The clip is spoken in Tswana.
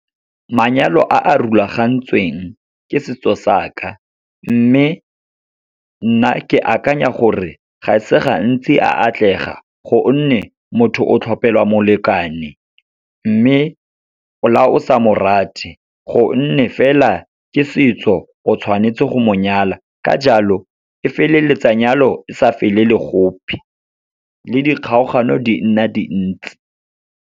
Manyalo a a rulagantsweng ke setso sa ka, mme nna ke akanya gore ga e se gantsi a atlega gonne, motho o tlhopelwa molekane. Mme la o sa mo rate, gonne fela ke setso o tshwanetse go monyala, ka jalo e feleletsa nyalo e sa felele gope, le di kgaogano di nna dintsi.